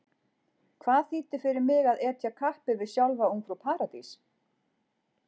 Hvað þýddi fyrir mig að etja kappi við sjálfa Ungfrú Paradís?